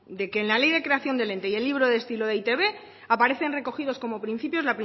de que en la ley de creación del ente y el libro de estilo de e i te be aparece recogidos como principios